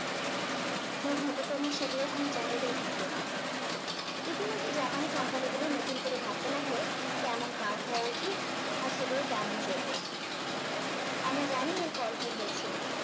দুর্ভাগ্য ক্রমে সেগুলোর কোনো চাহিদা ই থাকলো না ইতিমধ্যে জাপানি কোম্পানি গুলো নতুন করে ভাবতে লাগলো কেমন car হওয়া উচিত আর সেগুলো কেমন চলবে আমরা জানি এর ফল কি হয়েছিল